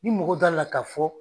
Ni mɔgɔ da la ka fɔ